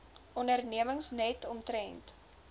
ondernemings net omtrent